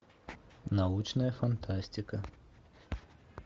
научная фантастика